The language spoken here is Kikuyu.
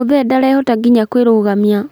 Mũthee ndarehota nginya kũĩrũgamia